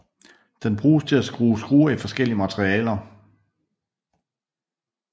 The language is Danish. Den bruges til at skrue skruer i forskellige materialer